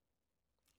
DR2